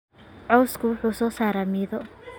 Cawsku wuxuu soo saaraa midho.